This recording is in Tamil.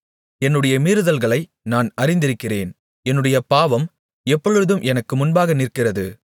என்னுடைய மீறுதல்களை நான் அறிந்திருக்கிறேன் என்னுடைய பாவம் எப்பொழுதும் எனக்கு முன்பாக நிற்கிறது